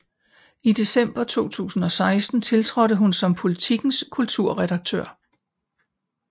I december 2016 tiltrådte hun som Politikens kulturredaktør